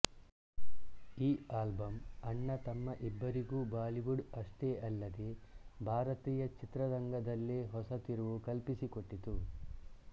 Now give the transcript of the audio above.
ಈ ಆಲ್ಬಮ್ ಅಣ್ಣ ತಮ್ಮ ಇಬ್ಬರಿಗೂ ಬಾಲಿವುಡ್ ಅಷ್ಟೆ ಅಲ್ಲದೆ ಭಾರತೀಯ ಚಿತ್ರರಂಗದಲ್ಲೇ ಹೊಸ ತಿರುವು ಕಲ್ಪಿಸಿಕೊಟ್ಟಿತು